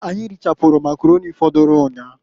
Anyị richapụrụ Makaroni fọdụlụ nnyaa.